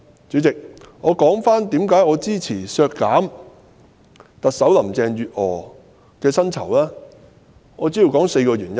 主席，讓我言歸為何支持削減特首林鄭月娥的薪酬開支，主要有4個原因。